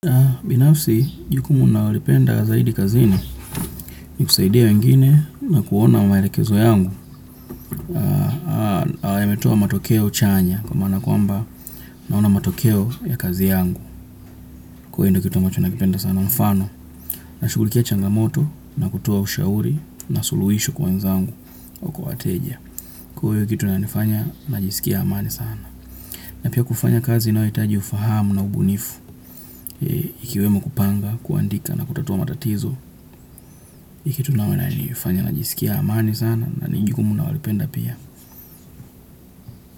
Binafsi jukumu nalolipenda zaidi kazini ni kusaidia wengine na kuona mwerekezo yangu. Ala ya metuwa matokeo chanya kwa mana kwa mba naona matokeo ya kazi yangu. Kwa hio kituwa mwacho nakipenda sana mfano na shugulikia changamoto na kutua ushauri na suluhisho kwa nzangu kwa ateja. Kwa hiyo kitu na nifanya na jisikia amani sana. Na pia kufanya kazi inayohitaji ufahamu na ubunifu ikiwemo kupanga, kuandika na kutatua matatizo Ikituname na nifanya na jisikia amani sana. Na nijukumu nalolipenda pia.